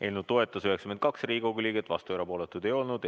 Eelnõu toetas 92 Riigikogu liiget, vastuolijaid ja erapooletuid ei olnud.